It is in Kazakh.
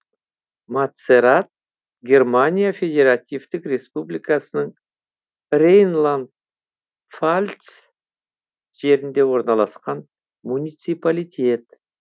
матцерат германия федеративтік республикасының рейнланд пфальц жерінде орналасқан муниципалитет